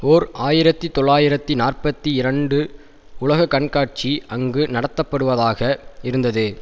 ஓர் ஆயிரத்து தொள்ளாயிரத்து நாற்பத்தி இரண்டு உலகக்கண்காட்சி அங்கு நடத்தப்படுவதாக இருந்தது